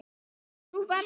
Það væri nú verra.